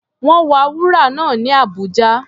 Wọ́n wa wúrà náà ní Abuja.